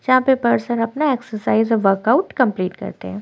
जहां पे पर्सन अपना एक्सरसाइज और वर्कआउट कंप्लीट करते हैं।